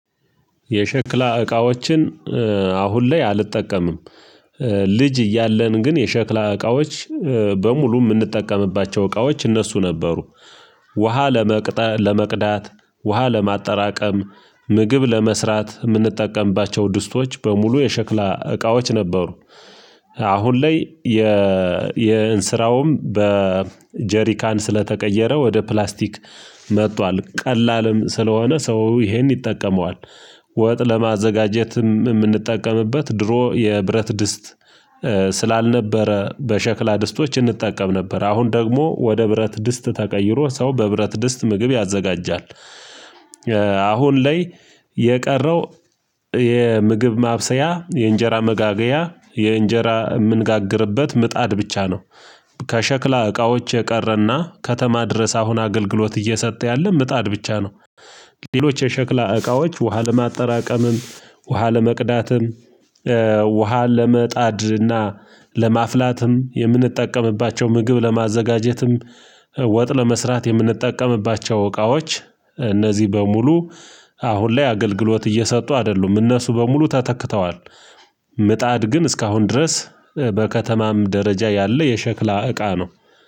የሸክላ እቃዎችን አሁን ላይ አልጠቀምም። ልጅ እያለን ግን የሸክላ እቃዎች በሙሉ እምንጠቀምባቸው እቃዎች እነሱ ነበሩ። ውሃ ለመቅጠ ለመቅዳት ውሃ ለማጠራቀም ምግብ ለመስራት የምንጠቀምባቸው ድስቶች በሙሉ የሸክላ እቃዎች ነበሩ። አሁን ላይ የእንስራውም በጀሪካን ስለተቀየረ ወደ ፕላስቲክ መጥቷል ቀላልም ስለሆነ ሰው ይሄን ይጠቀመዋል። ወጥ ለማዘጋጀት የምንጠቀምበት ድሮ የብረት ድስት ስላልነበረ በሸክላ ድስቶች እንጠቀም ነበር አሁን ደግሞ ወደ ብረት ድስት ተቀይሮ ሰው በብረት ድስት ምግብ ያዘጋጃል። አሁን ላይ የቀረው የምግብ ማብሰያ የእንጀራ መጋገያ የእንጀራ የምንጋግርበት ምጣድ ብቻ ነው። ከሸክላ እቃዎች የቀረና ከተማ ድረስ አሁን አገልግሎት እየሰጠ ያለ ምጣድ ብቻ ነው። ሌሎች የሸክላ እቃዎች ውሃ ለማጠራቀምም ውሃ ለመቅዳትም ውሃ ለመጣድርና ለማፍላትም የምንጠቀምባቸው ምግብ ለማዘጋጀትም ወጥ ለመስራት የምንጠቀምባቸው እቃዎች እነዚህ በሙሉ አሁን ላይ አገልግሎት እየሰጡ አደሉም እነሱ በሙሉ ተተክተዋል። ምጣድ ግን እስካሁን ድረስ በከተማም ደረጃ ያለ የሸክላ እቃ ነው